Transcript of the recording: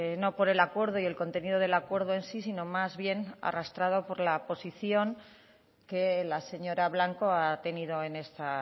no por el acuerdo y el contenido del acuerdo en sí sino más bien arrastrado por la posición que la señora blanco ha tenido en esta